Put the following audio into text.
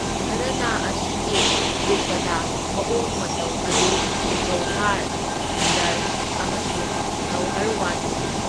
ꯘꯔꯥꯅꯥ ꯑꯁꯤꯒꯤ ꯙ꯭ꯔꯨꯄꯗ ꯃꯑꯣꯡ ꯃꯇꯧ ꯑꯗꯨ ꯒꯧꯍꯥꯔ, ꯈꯟꯗꯔ ꯑꯃꯁꯨꯡ ꯅꯧꯍꯔꯋꯥꯅꯤꯅꯤ꯫